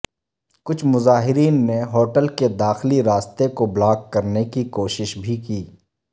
کچھ مظاہرین نے ہوٹل کے داخلی راستے کو بلاک کرنے کی کوشش بھی کی